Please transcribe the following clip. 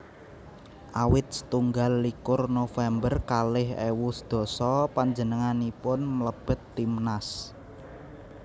Awit setunggal likur November kalih ewu sedasa panjenenganipun mlebet timnas